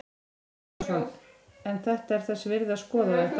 Kristján Már Unnarsson: En þetta er þess virði að skoða þetta?